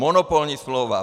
Monopolní smlouva.